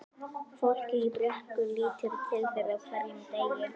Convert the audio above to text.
Fólkið í Brekku lítur til þeirra á hverjum degi.